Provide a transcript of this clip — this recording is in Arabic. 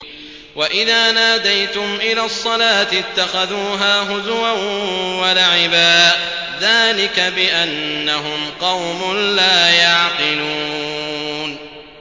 وَإِذَا نَادَيْتُمْ إِلَى الصَّلَاةِ اتَّخَذُوهَا هُزُوًا وَلَعِبًا ۚ ذَٰلِكَ بِأَنَّهُمْ قَوْمٌ لَّا يَعْقِلُونَ